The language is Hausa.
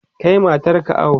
Kai matar ka awo!